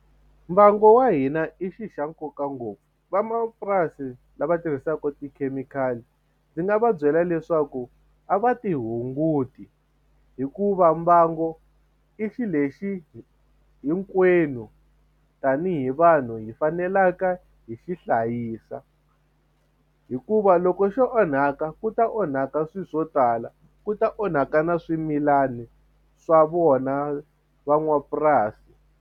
Mbangu wa hina i xi xa nkoka ngopfu van'wamapurasi lava tirhisaka tikhemikhali ndzi nga va byela leswaku a va ti hunguti hikuva mbangu i xilexi hinkwenu tanihi vanhu hi faneleke hi xi hlayisa hikuva loko swo onhaka ku ta onhaka swilo swo tala ku ta onhaka na swimilani swa vona van'wapurasi.